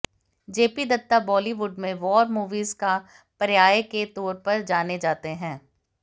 JP Dutta Bollywood में war movies का पर्याय के तौर पर जाने जाते हैं